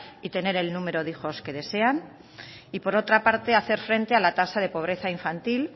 y tener el número de hijos que desean y por otra parte hacer frente a la tasa de pobreza infantil